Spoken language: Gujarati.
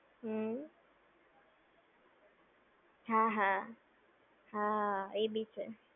હમ્મ. હા હા. હા એ બી છે.